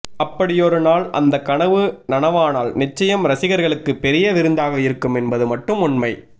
அப்படியொரு நாள் அந்த கனவு நனவானால் நிச்சயம் ரசிகர்களுக்கு பெரிய விருந்தாக இருக்கும் என்பது மட்டும் உண்மை